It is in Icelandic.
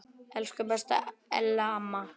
Elsku besta Ella amma.